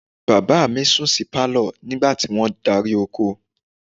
Bàbá mi sùn sí pálọ̀ nígbà tí wọ́n darí oko